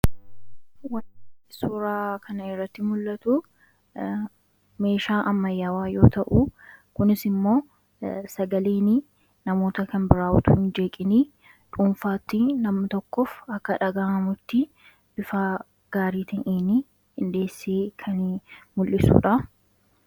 Suuraa kanaa gadii irraa kan mul'atu meeshaa ammayyaa yammuu ta'u, kunis immoo sagaleen nama kan biraa osoo hin jeeqin sirriitti akka itti dhaga'amuuf qindeessee kan tajaajiluu dha.